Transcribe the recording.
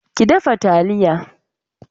Ki dafa talliya.